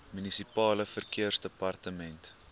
munisipale verkeersdepartemente